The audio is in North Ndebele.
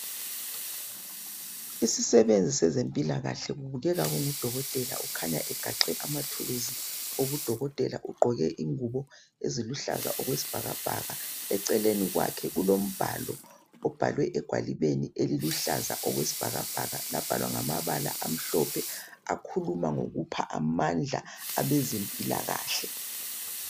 Isisebenzi sezempilakahle kubekeka kungudokotela ukhanya egaxe amathulusi udokotela ugqoke ingubo eziluhlaza okwesibhakabhaka eceleni kwakhe kulomhlalo ubhalwe egwalibeni eliluhlaza okwesibhakabhaka lwabhala ngamala omhlophe olukhuluma ngokupha amandla abezempilakahle